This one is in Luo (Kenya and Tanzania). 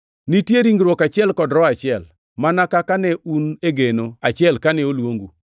Nitie ringruok achiel kod Roho achiel, mana kaka ne un e geno achiel kane oluongu,